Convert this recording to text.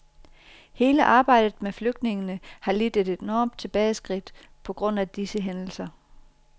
Hele arbejdet med flygtningene har lidt et enorm tilbageskridt på grund af disse hændelser.